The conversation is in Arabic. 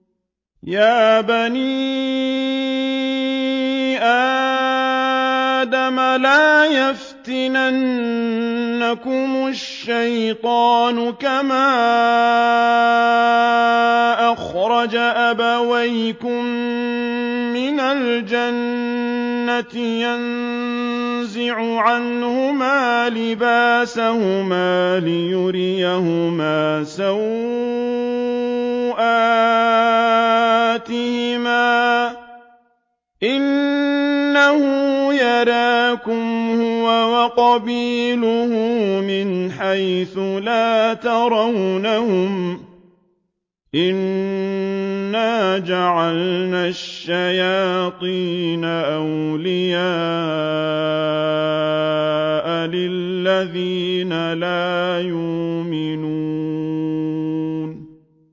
يَا بَنِي آدَمَ لَا يَفْتِنَنَّكُمُ الشَّيْطَانُ كَمَا أَخْرَجَ أَبَوَيْكُم مِّنَ الْجَنَّةِ يَنزِعُ عَنْهُمَا لِبَاسَهُمَا لِيُرِيَهُمَا سَوْآتِهِمَا ۗ إِنَّهُ يَرَاكُمْ هُوَ وَقَبِيلُهُ مِنْ حَيْثُ لَا تَرَوْنَهُمْ ۗ إِنَّا جَعَلْنَا الشَّيَاطِينَ أَوْلِيَاءَ لِلَّذِينَ لَا يُؤْمِنُونَ